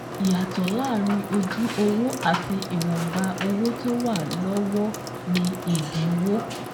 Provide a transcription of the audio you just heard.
Ìyàtọ̀ láàárín ojú owó àti ìwọnba owó tó wà wà lọ́wọ́ ni ìdínwó